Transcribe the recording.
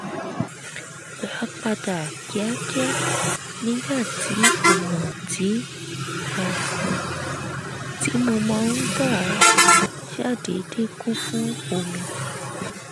gbà padà kíákíá nígbà tí ọ̀nà tí mo máa ń gbà ṣàdédé kún fún omi